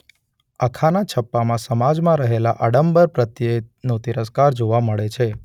અખાના છપ્પામાં સમાજમાં રહેલા આડંબર પ્રત્યેનો તિરસ્કાર જોવા મળે છે.